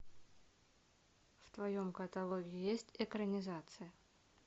в твоем каталоге есть экранизация